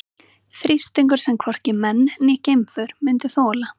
Þrýstingur sem hvorki menn né geimför myndu þola.